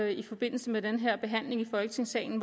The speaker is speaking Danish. i forbindelse med den her behandling i folketingssalen